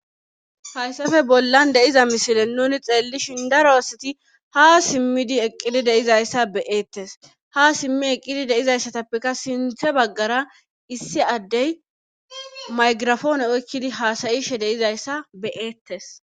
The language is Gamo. hayssafe bollan deiza misile nuni xeellishin daroosati ha simmidi eqqili deizayssa beyeettes ha simmi eqqidi deizayssatappeka sinthe baggara issi addey maygirafoone oykkidi haasayishe deizayssa beyeettes